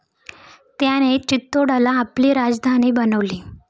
त्याने चित्तोडला आपली राजधानी बनवली.